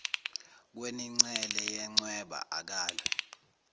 kwenincele yencweba akalwe